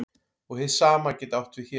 Og hið sama gæti átt við hér.